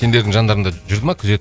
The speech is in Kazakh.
сендердің жандарыңда жүрді ма күзет